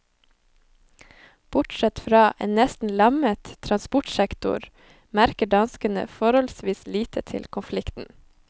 Bortsett fra en nesten lammet transportsektor, merker danskene forholdsvis lite til konflikten.